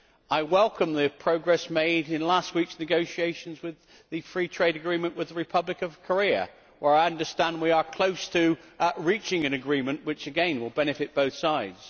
I welcome the progress made in last week's negotiations on the free trade agreement with the Republic of Korea, where I understand we are close to reaching an agreement which, again, will benefit both sides.